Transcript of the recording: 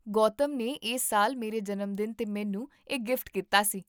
ਗੌਤਮ ਨੇ ਇਸ ਸਾਲ ਮੇਰੇ ਜਨਮਦਿਨ 'ਤੇ ਮੈਨੂੰ ਇਹ ਗਿਫਟ ਕੀਤਾ ਸੀ